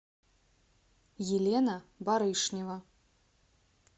елена барышнева